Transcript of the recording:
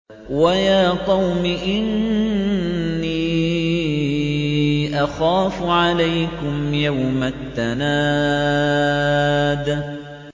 وَيَا قَوْمِ إِنِّي أَخَافُ عَلَيْكُمْ يَوْمَ التَّنَادِ